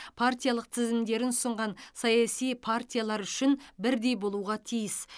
партиялық тізімдерін ұсынған саяси партиялар үшін бірдей болуға тиіс